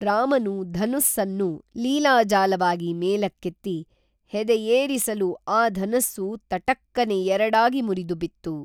ರಾಮನು ಧನುಸ್ಸನ್ನು ಲೀಲಾಜಾಲವಾಗಿ ಮೇಲಕ್ಕೇತ್ತಿ ಹೆದೆಯೇರಿಸಲು ಆ ಧನುಸ್ಸು ತಟಕ್ಕನೆ ಎರಡಾಗಿ ಮುರಿದು ಬಿತ್ತು